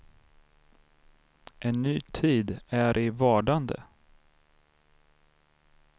En ny tid är i vardande.